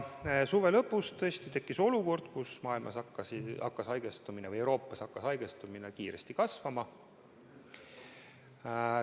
Suve lõpus tekkis olukord, kus maailmas või Euroopas hakkas haigestumine kiiresti kasvama.